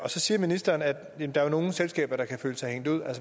så siger ministeren at der er nogle selskaber der kan føle sig hængt ud